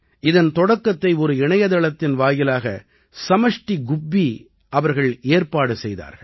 இதன் தொடக்கத்தை ஒரு இணையத்தளத்தின் வாயிலாக சமஷ்டி குப்பி அவர்கள் செய்தார்கள்